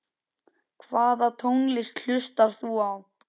Hvaða tónlist hlustar þú á?